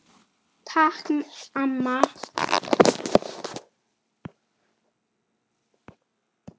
Takk amma.